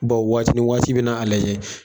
Bɔn waati ni waati, i bɛna a lajɛ.